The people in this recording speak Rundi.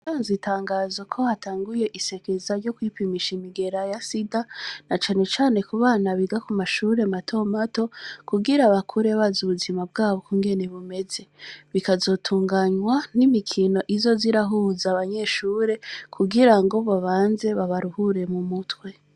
Anzitangaza ko hatanguye isekeza ryo kwipimisha imigera ya sida na canu cane ku bana biga ku mashure matomato kugira abakure baza ubuzima bwabo kungene bumeze bikazotunganywa n'imikino izo zirahuza abanyeshure kugira ngo boabanze babaruhure mu mutwe.